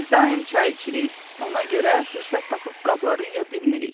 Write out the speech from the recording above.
Biz daim çay içirik, ona görə fürsət tapıb qabları yuya bilmirik.